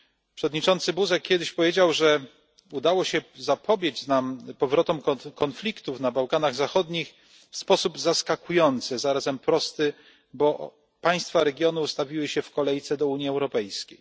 Przewodniczący Buzek powiedział kiedyś, że udało nam się zapobiec powrotom konfliktów na Bałkanach Zachodnich w sposób zaskakujący i zarazem prosty, bo państwa regionu ustawiły się w kolejce do Unii Europejskiej.